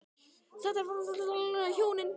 Þetta var sannarlega þungbær raun fyrir okkur hjónin.